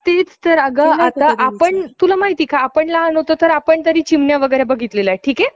आले. कर्वे घराण्याचं मूळ गाव मरुड. मुरुड. निसर्गरम्य परिसर, विशाल समुद्रकाठ, नारळी पोकळ~ पो~ पोखळीचा बाग,